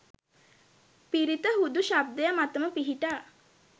පිරිත හුදු ශබ්දය මතම පිහිටා